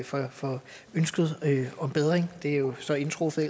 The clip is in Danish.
for for ønsket om bedring det er jo så indtruffet